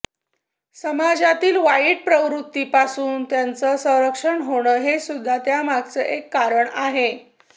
समाजातील वाईट प्रवृत्तींपासून त्यांचं संरक्षण होणं हे सुद्धा त्यामागचं एक कारण आहे